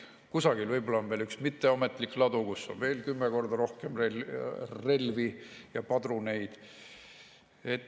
Kusagil võib-olla on üks mitteametlik ladu, kus on veel kümme korda rohkem relvi ja padruneid.